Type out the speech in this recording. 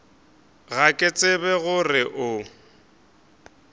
ga ke tsebe gore o